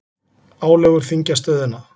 Álögur þyngja stöðuna